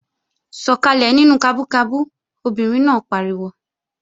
Sọkalẹ nínú kabú kabú! Obìnrin náà pariwo